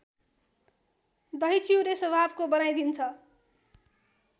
दहीचिउरे स्वभावको बनाइदिन्छ